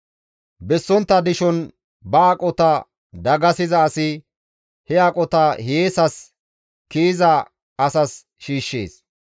Bessontta dishon ba aqota dagasiza asi he aqota hiyeesas kiyiza asas shiishshees.